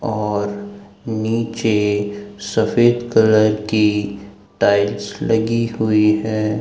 और नीचे सफेद कलर की टाइल्स लगी हुई है।